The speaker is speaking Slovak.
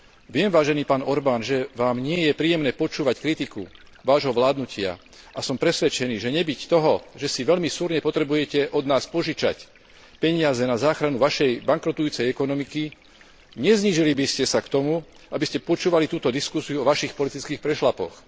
Viem, vážený pán Orban, že Vám nie je príjemné počúvať kritiku Vášho vládnutia, a som presvedčený, že nebyť toho, že si veľmi súrne potrebujete od nás požičať peniaze na záchranu Vašej bankrotujúcej ekonomiky, neznížili by ste sa k tomu, aby ste počúvali túto diskusiu o Vašich politických prešľapoch.